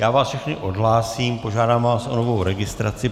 Já vás všechny odhlásím, požádám vás o novou registraci.